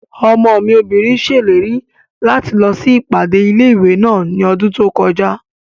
Ọmọ mi obìnrin ṣèlérí láti lọ sí ìpàdé ilé-ìwé náà ní ọdún tó kọjá